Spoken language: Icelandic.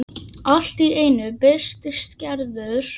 Allt í einu birtist Gerður.